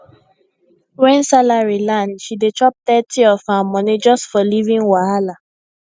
when salary land she dey chop thirty of her money just for living wahala